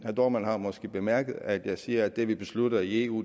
dohrmann har måske bemærket at jeg siger at det vi beslutter i eu